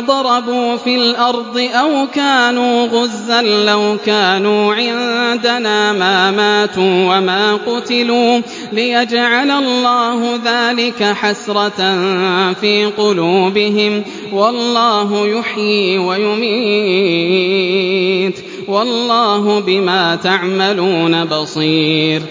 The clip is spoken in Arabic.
ضَرَبُوا فِي الْأَرْضِ أَوْ كَانُوا غُزًّى لَّوْ كَانُوا عِندَنَا مَا مَاتُوا وَمَا قُتِلُوا لِيَجْعَلَ اللَّهُ ذَٰلِكَ حَسْرَةً فِي قُلُوبِهِمْ ۗ وَاللَّهُ يُحْيِي وَيُمِيتُ ۗ وَاللَّهُ بِمَا تَعْمَلُونَ بَصِيرٌ